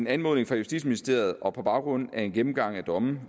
anmodning fra justitsministeriet og på baggrund af en gennemgang af domme